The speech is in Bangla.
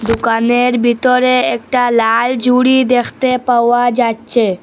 দোকানের ভিতরে একটা লাল ঝুড়ি দেখতে পাওয়া যাচ্ছে।